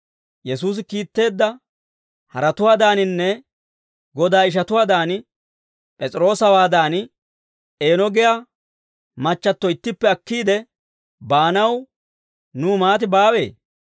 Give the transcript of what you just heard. Yesuusi kiitteedda haratuwaadaaninne Godaa ishatuwaadan, P'es'iroosawaadan, eeno giyaa machchatto ittippe akkiide baanaw nuw maatay baawee?